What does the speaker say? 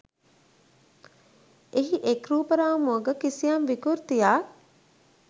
එහි එක් රූප රාමුවක කිසියම් විකෘතියක්